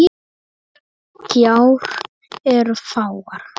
Gjár eru fáar.